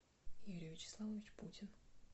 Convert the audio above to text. юрий вячеславович путин